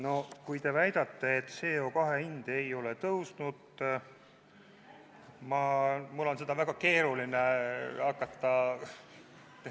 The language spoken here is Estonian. No kui te väidate, et CO2 hind ei ole tõusnud, siis mul on seda väga keeruline hakata ...